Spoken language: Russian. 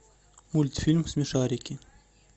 мультфильм смешарики